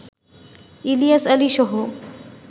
Ilias আলীসহ